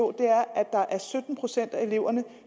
at der er sytten procent af eleverne